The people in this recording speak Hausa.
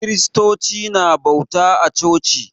Kristoci na bauta a coci.